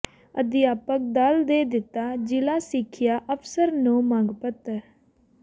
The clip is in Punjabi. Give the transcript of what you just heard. ਅਧਿਆਪਕ ਦਲ ਨੇ ਦਿੱਤਾ ਜ਼ਿਲ੍ਹਾ ਸਿੱਖਿਆ ਅਫ਼ਸਰ ਨੂੰ ਮੰਗ ਪੱਤਰ